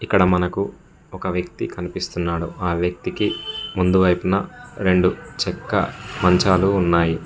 ఇక్కడ మనకు ఒక వ్యక్తి కనిపిస్తున్నాడు ఆ వ్యక్తికి ముందువైపున రెండు చెక్క మంచాలు ఉన్నాయి.